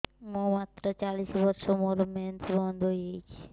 ମୁଁ ମାତ୍ର ଚାଳିଶ ବର୍ଷ ମୋର ମେନ୍ସ ବନ୍ଦ ହେଇଯାଇଛି